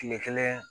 Kile kelen